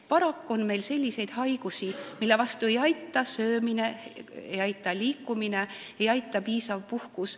Paraku on selliseid haigusi, mille vastu ei aita õigesti söömine, ei aita liikumine, ei aita piisav puhkus.